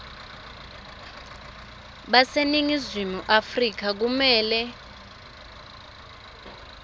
baseningizimu afrika kumele